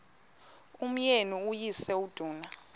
umyeni uyise iduna